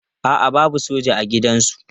A'a babu soja a gidansu.